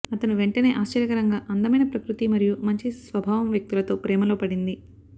అతను వెంటనే ఆశ్చర్యకరంగా అందమైన ప్రకృతి మరియు మంచి స్వభావం వ్యక్తులతో ప్రేమలో పడింది